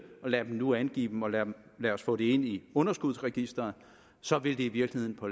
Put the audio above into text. lad dem nu angive dem og lad os få det ind i underskudsregisteret og så vil det i virkeligheden på